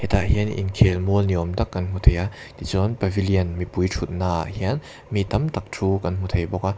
tah hian inkhel mual ni awm tak kan hmu thei a ti chuan pavilion mipui thutna ah hian mi tam tak thu kan hmu thei bawk a.